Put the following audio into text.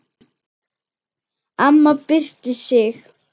Amma byrsti sig.